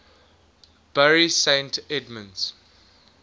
bury st edmunds